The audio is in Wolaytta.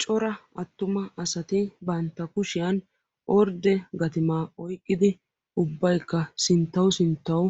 Cora attuma asati banttaa kushshiyan ordde gattimaa oyqqidi ubbaykka sinttawu sinttawu